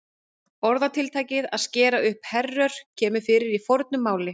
Orðatiltækið að skera upp herör kemur fyrir í fornu máli.